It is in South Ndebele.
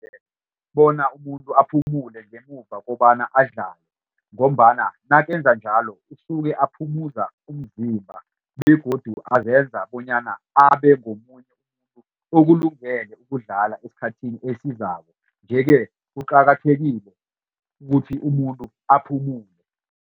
Bona umuntu aphumule ngemuva kobana adlale ngombana nakenza njalo usuke aphumuza umzimba begodu azenza bonyana abe ngomunye umuntu okulungele ukudlala esikhathini esizako. Yeke kuqakathekile ukuthi umuntu aphumule